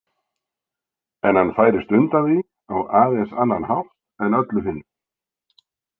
En hann færist undan því á aðeins annan hátt en öllu hinu.